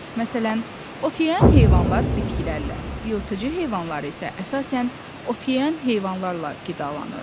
Məsələn, ot yeyən heyvanlar bitkilərlə, yırtıcı heyvanlar isə əsasən ot yeyən heyvanlarla qidalanır.